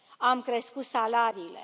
Am crescut salariile.